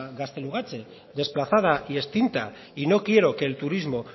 gaztelugatxe desplazada y extinta y no quiero que el turismo